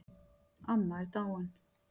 Amma er dáin